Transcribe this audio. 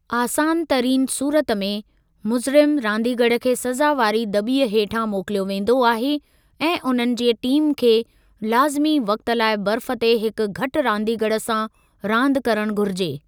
आसान तरीन सूरत में, मुज़रिम रांदीगरु खे सज़ा वारी दॿीअ ॾांहुं मोकिलियो वेंदो आहे ऐं उन्हनि जे टीम खे लाज़िमी वक़्ति लाइ बर्फ़ ते हिकु घटि रांदीगरु सां रांदि करणु घुरिजे।